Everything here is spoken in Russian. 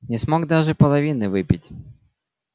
не смог даже половины выпить